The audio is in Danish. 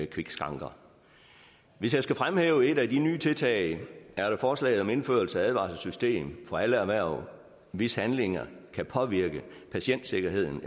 kvikskranker hvis jeg skal fremhæve et af de nye tiltag er der forslaget om indførelse af et advarselssystem for alle erhverv hvis handlinger kan påvirke patientsikkerheden